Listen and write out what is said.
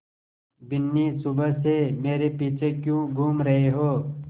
बिन्नी सुबह से मेरे पीछे क्यों घूम रहे हो